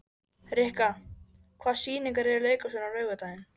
Rikka, hvaða sýningar eru í leikhúsinu á laugardaginn?